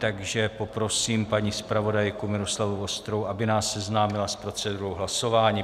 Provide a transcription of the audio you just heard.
Takže poprosím paní zpravodajku Miloslavu Vostrou, aby nás seznámila s procedurou hlasování.